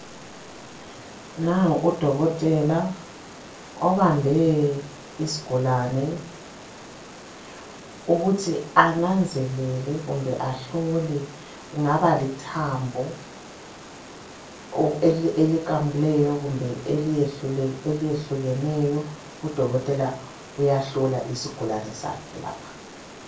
Nangu udokotela ubambe isigulane ukuthi ananzelele kumbe ahlole kungaba lithambo iliqamukileyo kumbe eliyehlukeneyo udokotela uyahlola isigulani sakhe lapha